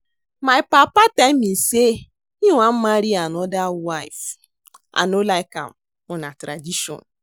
My papa tell me say he wan marry another wife. I no like am but na tradition